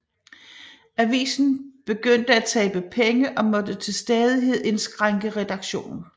Avisen begyndte at tabe penge og måtte til stadighed indskrænke redaktionen